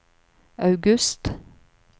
august